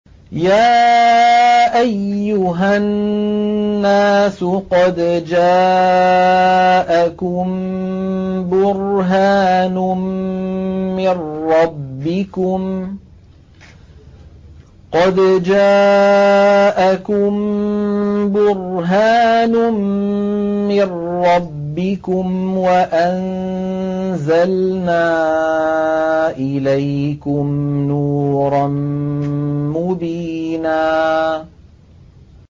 يَا أَيُّهَا النَّاسُ قَدْ جَاءَكُم بُرْهَانٌ مِّن رَّبِّكُمْ وَأَنزَلْنَا إِلَيْكُمْ نُورًا مُّبِينًا